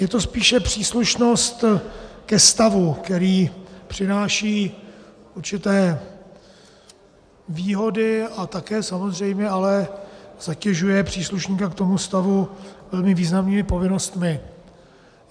Je to spíše příslušnost ke stavu, který přináší určité výhody a také samozřejmě ale zatěžuje příslušníka k tomu stavu velmi významnými povinnostmi.